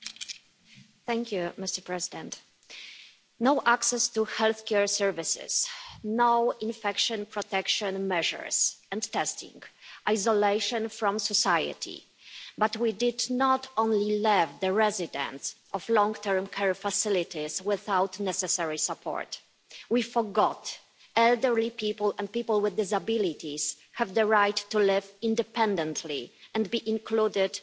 Mr President, no access to healthcare services, no infection protection measures or testing, isolation from society but we did not only leave the residents of long-term care facilities without the necessary support, we forgot that elderly people and people with disabilities have the right to live independently and be included in the community.